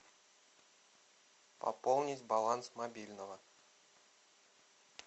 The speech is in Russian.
пополнить баланс мобильного